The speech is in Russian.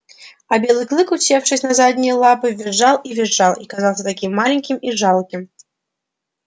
а белый клык усевшись на задние лапы визжал и визжал и казался таким маленьким и жалким